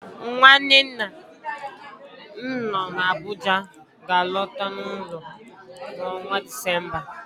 Nwanne nna m nọ n'Abuja ga-alọta n'ụlọ n'ọnwa Disemba